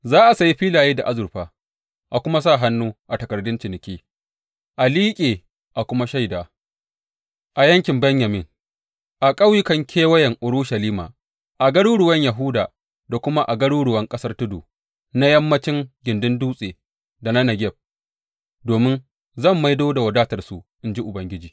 Za a sayi filaye da azurfa, a kuma sa hannu a takardan ciniki, a liƙe a kuma shaida a yankin Benyamin, a ƙauyukan kewayen Urushalima, a garuruwan Yahuda da kuma a garuruwan ƙasar tudu, na yammancin gindin dutse da na Negeb, domin zan maido da wadatarsu, in ji Ubangiji.